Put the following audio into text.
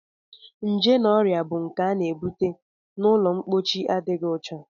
Nje na ọrịa bụ nke a na-ebute n'ụlọmpochi adịghị ọcha